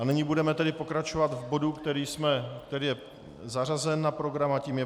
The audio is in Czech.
A nyní budeme tedy pokračovat v bodu, který je zařazen na program, a tím je